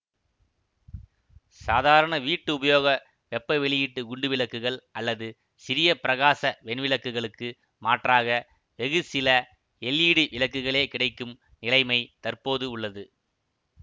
சாதாரண வீட்டு உபயோக வெப்ப வெளியீட்டு குண்டு விளக்குகள் அல்லது சிறிய பிரகாச வெண்விளக்குகளுக்கு மாற்றாக வெகு சில எல்ஈடி விளக்குகளே கிடைக்கும் நிலைமை தற்போது உள்ளது